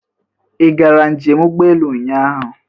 Ị gara njem ụgbọelu ụnyaahụ?